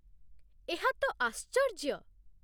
ଏହା ତ ଆଶ୍ଚର୍ଯ୍ୟ !